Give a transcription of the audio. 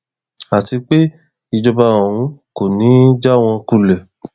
àti pé ìjọba òun kò ní í já wọn kulẹ